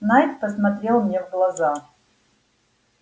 найд посмотрел мне в глаза